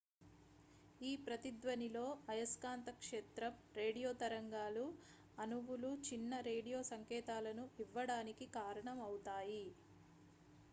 ఈ ప్రతిధ్వనిలో అయస్కాంత క్షేత్రం రేడియో తరంగాలు అణువులు చిన్న రేడియో సంకేతాలను ఇవ్వడానికి కారణం అవుతాయి